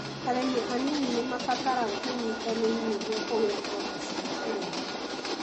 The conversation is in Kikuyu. Arĩmi anini nĩmarabatara ũnyitanĩri nĩguo kũgĩa ngombo cia ũrĩmi